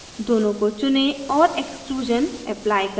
दोनों को चुनें और exclusion अप्लाई करें